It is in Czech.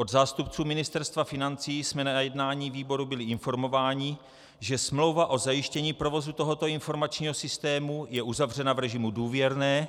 Od zástupců Ministerstva financí jsme na jednání výboru byli informováni, že smlouva o zajištění provozu tohoto informačního systému je uzavřena v režimu důvěrné,